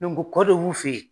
Dɔnko kɔ dɔ bɛ u fɛ yen.